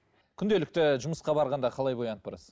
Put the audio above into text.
күнделікті жұмысқа барғанда қалай боянып барасыз